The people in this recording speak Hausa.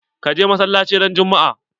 Ka je masalaci ran juma'a?